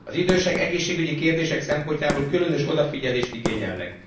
Az idősek egészségügyi kérdések szempontjából különös odafigyelést igényelnek.